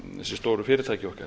þessi stóru fyrirtæki okkar